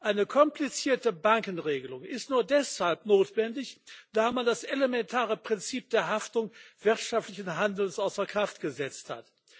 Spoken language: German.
Eine komplizierte Bankenregelung ist nur deshalb notwendig, da man das elementare Prinzip der Haftung wirtschaftlichen Handelns außer Kraft gesetzt hat.